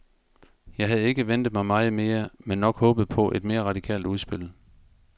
Jeg havde ikke ventet mig meget mere, men nok håbet på et mere radikalt udspil.